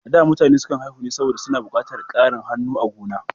A zamanin da, mutane sukan haihu ne saboda suna buƙatar ƙarin hannu a gonar.